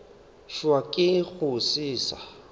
hwa ke go se sa